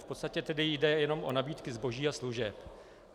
V podstatě tedy jde jen o nabídky zboží a služeb.